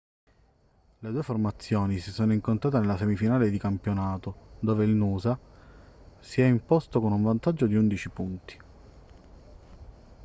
le due formazioni si sono incontrate nella semifinale di campionato dove il noosa si è imposto con un vantaggio di 11 punti